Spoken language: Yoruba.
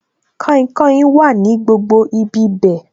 Kainkain wà ní gbogbo ibi bẹ̀